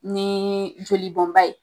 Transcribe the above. Ni joli bɔn ba ye.